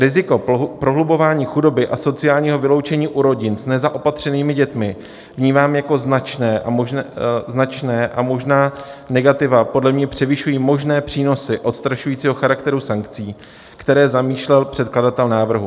Riziko prohlubování chudoby a sociálního vyloučení u rodin s nezaopatřenými dětmi vnímám jako značné a možná negativa podle mě převyšují možné přínosy odstrašujícího charakteru sankcí, které zamýšlel předkladatel návrhu.